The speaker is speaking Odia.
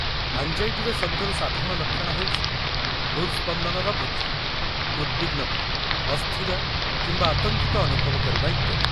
ଆଙ୍ଗ୍‌ଜାଇଟିର ସବୁଠାରୁ ସାଧାରଣ ଲକ୍ଷଣ ହେଉଛି ହୃଦ୍‌ସ୍ପନ୍ଦନର ବୃଦ୍ଧି, ଉଦ୍‌ବିଗ୍ନତା, ଅସ୍ଥିର କିମ୍ବା ଆତଙ୍କିତ ଅନୁଭବ କରିବା ଇତ୍ୟାଦି।